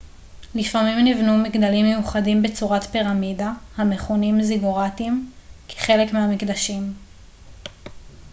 לפעמים נבנו מגדלים מיוחדים בצורת פירמידה המכונים זיגוראטים כחלק מהמקדשים